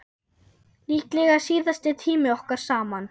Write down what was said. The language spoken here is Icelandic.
Líklega síðasti tími okkar saman.